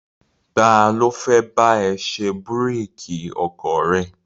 Ta ló fẹ́ bá ẹ ṣe búrékì ọkọ̀ rẹ?